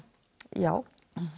já